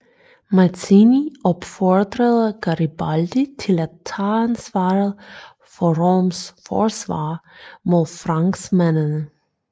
Mazzini opfordrede Garibaldi til at tage ansvaret for Roms forsvar mod franskmændene